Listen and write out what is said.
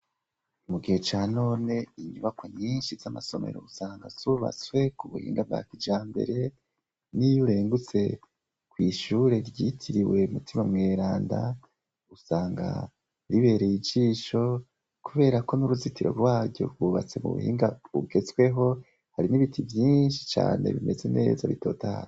Mugihe ca none inyubako nyinshi z'amasomero usanga subatswe ku buhinga bwa kijambere, n'iyurengutse kw'ishure ryitiriwe mutima mweranda usanga ribereye ijisho, kubera ko n'uruzitiro rwaryo gwubatse mu buhinga bugetsweho hari n'ibiti byinshi cane bimeze neza bitotahaye.